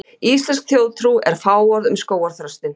íslensk þjóðtrú er fáorð um skógarþröstinn